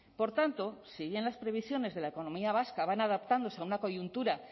por tanto si bien las previsiones de la economía vasca van adaptándose a una coyuntura